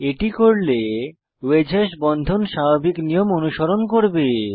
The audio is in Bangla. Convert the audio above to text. এটি করলে ওয়েজ হ্যাশ বন্ধন স্বাভাবিক নিয়ম অনুসরণ করবে